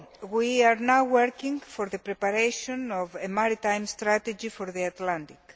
We are now working on the preparation of a maritime strategy for the Atlantic.